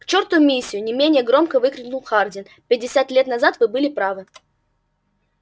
к черту миссию не менее громко выкрикнул хардин пятьдесят лет назад вы были правы